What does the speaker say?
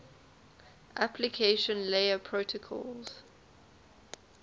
application layer protocols